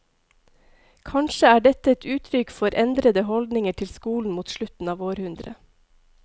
Kanskje er dette et uttrykk for endrede holdninger til skolen mot slutten av århundret.